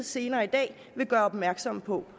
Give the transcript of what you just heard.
senere i dag vil gøre opmærksom på